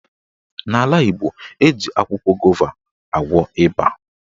N'ala Igbo, eji akwụkwọ gova agwọ ịba.